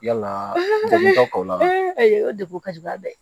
Yalaa degun ka k'o la o degun ka jugu ba bɛ